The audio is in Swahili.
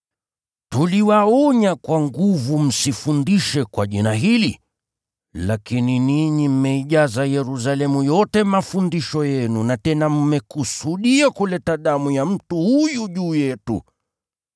“Tuliwaonya kwa nguvu msifundishe kwa jina hili, lakini ninyi mmeijaza Yerusalemu yote mafundisho yenu na tena mmekusudia kuleta damu ya mtu huyu juu yetu.”